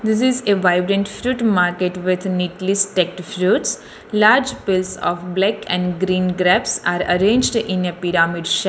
This is a vibes a fruit market with neatly fresh fruites large place pluck and green grapes are arranged in a pyramid sha --